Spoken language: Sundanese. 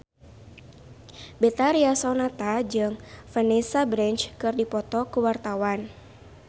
Betharia Sonata jeung Vanessa Branch keur dipoto ku wartawan